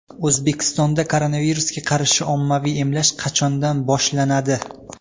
O‘zbekistonda koronavirusga qarshi ommaviy emlash qachondan boshlanadi?